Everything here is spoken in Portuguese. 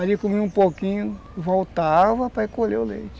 Aí, comia um pouquinho, voltava para recolher o leite.